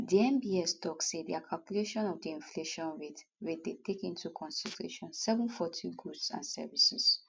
di nbs tok say dia calculation of di inflation rate rate dey take into consideration 740 goods and services